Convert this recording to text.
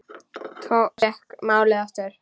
Thomas fékk málið aftur.